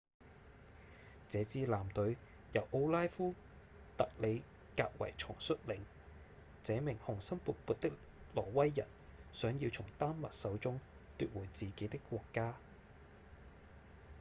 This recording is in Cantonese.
這支艦隊由奧拉夫·特里格維松率領這名雄心勃勃的挪威人想要從丹麥手中奪回自己的國家